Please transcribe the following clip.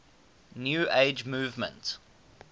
new age movement